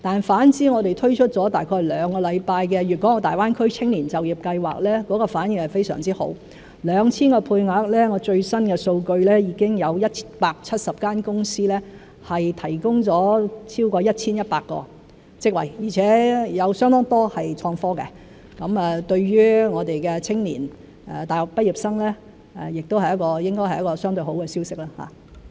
反之，我們推出了約兩個星期的"大灣區青年就業計劃"反應非常好 ，2,000 個配額中，最新的數據是已經有170間公司提供了超過 1,100 個職位，而且有相當多是創科的，對於我們的青年和大學畢業生，亦應是一個相對好的消息。